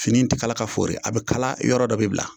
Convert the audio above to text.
Fini tɛ kala ka fori , a bɛ kala, yɔrɔ dɔ bɛ bila.